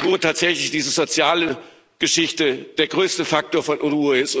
wo tatsächlich diese soziale Geschichte der größte Faktor von Unruhe ist.